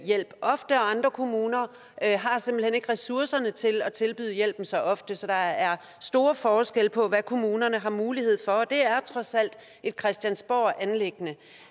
hjælp ofte og andre kommuner har simpelt hen ikke ressourcerne til at tilbyde hjælpen så ofte så der er store forskelle på hvad kommunerne har mulighed for og det er trods alt et christiansborganliggende